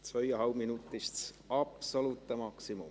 Zweieinhalb Minuten sind das absolute Maximum.